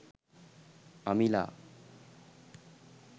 amila